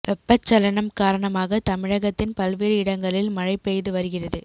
வெப்பச்சலனம் காரணமாக தமிழகத்தின் பல்வேறு இடங்களில் மழை பெய்து வருகிறது